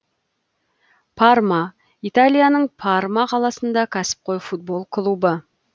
парма италияның парма қаласындағы кәсіпқой футбол клубы